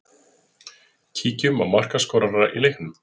Kíkjum á markaskorara í leiknum.